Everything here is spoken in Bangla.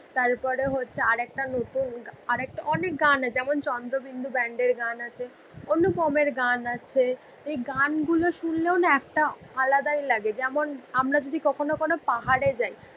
তার পরে হছে আর একটা নতুন অনেক গান আছে যেমন চন্দ্রবিন্দু ব্যান্ড এর গান আছে অনুপম এর গান আছে গান গুলো সুনলেও না একটা আলাদা ইয়ে লাগে যেমন আমরা যদি কখন ও কখন ও পাহাড়ে যাই